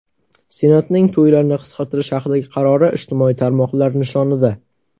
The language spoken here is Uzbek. Senatning to‘ylarni qisqartirish haqidagi qarori ijtimoiy tarmoqlar nishonida.